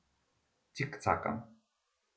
Cikcakam.